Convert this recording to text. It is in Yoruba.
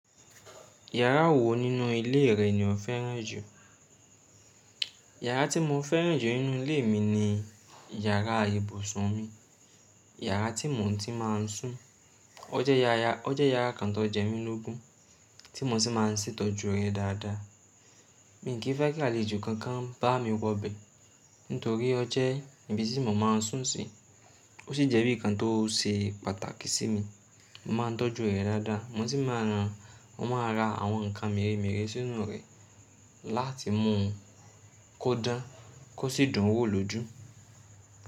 Yàrá wo nínú ilé rẹ ni o féràn jù? Yàrá tí mo féràn jù nínú ilé mi ni yàrá ibùsùn mi. Yàrá tí mo ti máa ń sùn. O je yaya O jẹ́ yàrá kan tó jẹ́ mi lógun, tí mo sì máa ń ṣètọ́jú rẹ̀ dáadáa. Mi ò kí fẹ́ kí àlejò kankan bá mi wọ bẹ̀ nítorí ọ jẹ́ ibi tí mo máa ń sùn sí. O sí jẹ́ bí i kan tó ṣe pàtàkì sí mi. Mo máa ń tọ́jú rẹ̀ dáadáa mo sì máa ń ra àwọn ǹkan mèremère sínú rẹ̀ láti mú u kó dán, kó sì dùn wò lójú.